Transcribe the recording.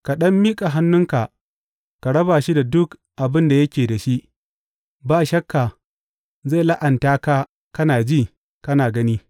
Ka ɗan miƙa hannunka ka raba shi da duk abin da yake da shi, ba shakka zai la’anta ka kana ji, kana gani.